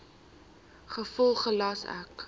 gevolglik gelas ek